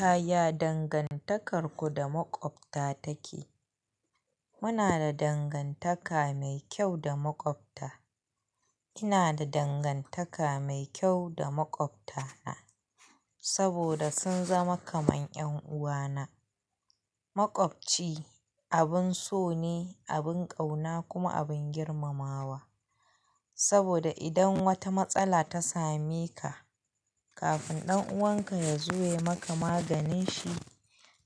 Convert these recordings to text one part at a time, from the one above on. Yaya dangantakarku da maƙwabta take? Muna da dangantaka mai kyau da maƙwabta. Ina da dangantaka mai kyau da maƙwabta saboda sun zama kaman 'yan uwana. Maƙwabci abin so ne, abin ƙauna kuma abin girmamawa saboda idan wata matsala ta same ka, kafin ɗan'uwan ka ya zo ya yi maka maganin shi,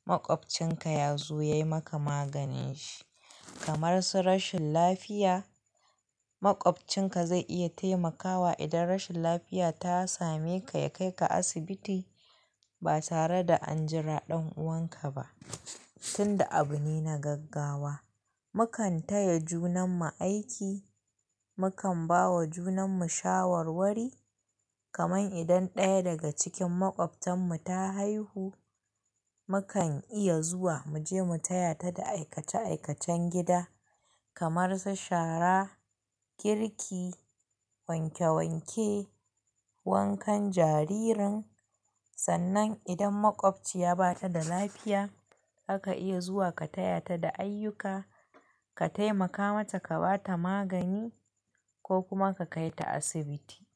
maƙwabcinka ya zo ya yi maka maganin shi. Kamar su rashin lafiya, maƙwabcinka zai iya taimakawa idan rashin lafiya ta same ka ya kai ka asibiti ba tare da an jira ɗan'uwan ka ba tunda abu ne na gaggawa. Mu kan taya junan mu aiki, mu kan ba wa junan mu shawarwari. Kaman idan ɗaya daga cikin maƙwabtan mu ta haihu, mu kan iya zuwa mu je mu taya ta da aikace-aikacen gida kamar su shara, girki, wanke-wanke, wankan jaririn. Sannan idan maƙwabci ya bata da lafiya, aka iya zuwa ka taya ta da ayyuka, ka taimaka mata ka bata magani ko kuma ka kai ta asibiti.